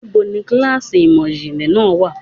Níbo ni kíláàsì ìmò ìjìnlẹ̀ náà wà?